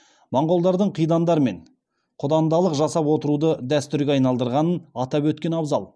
монғолдардың қидандармен құдандалық жасап отыруды дәстүрге айналдырғанын атап өткен абзал